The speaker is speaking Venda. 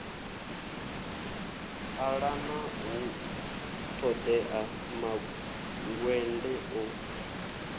ṱalana hu ṱoḓea mangwende o